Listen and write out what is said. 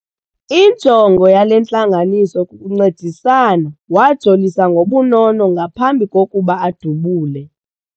Injongo yale ntlanganiso kukuncedisana. wajolisa ngobunono ngaphambi kokuba adubule